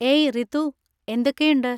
ഏയ് റിതു, എന്തൊക്കെയുണ്ട്?